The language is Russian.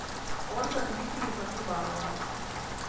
ольга дмитриевна крибанова